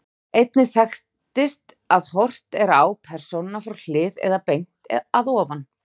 Einnig þekkist að horft er á persónuna frá hlið, eða beint að ofan.